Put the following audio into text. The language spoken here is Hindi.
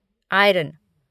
आयरन